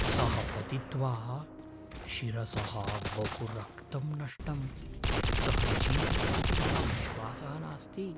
सः पतित्वा शिरसः बहु रक्तं नष्टम् । सः जीवति इति मम विश्वासः नास्ति।